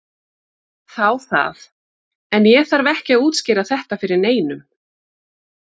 Þá það, en ég þarf ekki að útskýra þetta fyrir neinum.